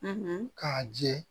k'a jɛ